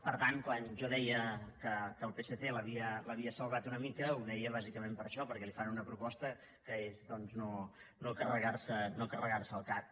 per tant quan jo deia que el psc l’havia salvat una mica ho deia bàsicament per això perquè li fan una proposta que és doncs no carregar se el cac